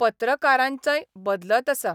पत्रकारांचंय बदलत आसा.